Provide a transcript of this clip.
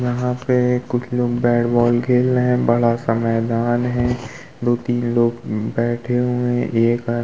यहाँ पे कुछ लोग बैट बॉल खेल रहे हैं। बड़ा सा मैदान है। दो तीनलोग बैठे हुए हैं। एक --